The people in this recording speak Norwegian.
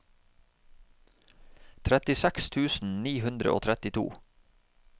trettiseks tusen ni hundre og trettito